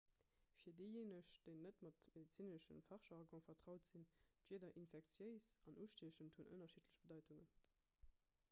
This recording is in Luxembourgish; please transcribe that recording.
fir déijéineg déi net mam medezinesche fachjargon vertraut sinn d'wierder infektiéis an ustiechend hunn ënnerschiddlech bedeitungen